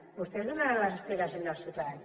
vostès donaran les explicacions als ciutadans